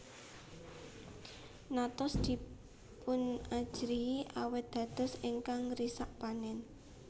Notos dipunajrihi awit dados ingkang ngrisak panen